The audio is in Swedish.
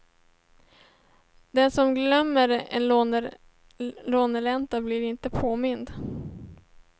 Den som glömmer en låneränta blir inte påmind.